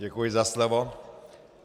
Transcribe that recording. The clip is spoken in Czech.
Děkuji za slovo.